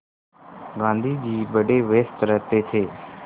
गाँधी जी बड़े व्यस्त रहते थे